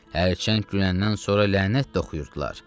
Hərçənd güləndən sonra lənət də oxuyurdular.